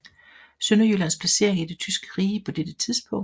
Sønderjyllands placering i det tyske rige på dette tidspunkt